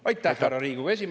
Teie aeg!